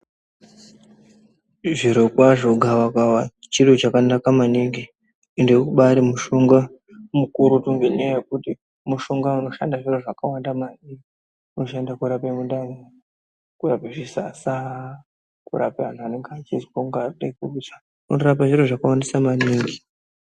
Zvirokwazvo gavakava chiro chakanaka maningi ende ubaari mushonga mukurutu ngendaa yekuti unoshanda zviro zvakawanda maningi. Unoshanda kuarape mundani, kurape zvisasa, kurapa antu anenge achizwa kunga anode kurutsa, unorape zviro zvakawandisa maningi.